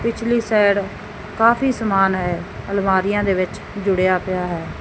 ਪਿਛਲੀ ਸਾਈਡ ਕਾਫੀ ਸਮਾਨ ਹੈ ਅਲਮਾਰੀਆਂ ਦੇ ਵਿੱਚ ਜੁੜਿਆ ਪਿਆ ਹੈ।